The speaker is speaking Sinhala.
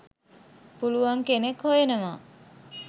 පුළුවන් කෙනෙක් හොයනවා.